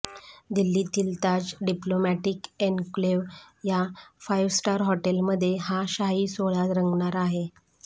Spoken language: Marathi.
दिल्लीतील ताज डिप्लोमॅटिक एन्क्लेव या फाइव्ह स्टार हॉटेलमध्ये हा शाही सोहळा रंगणार आहे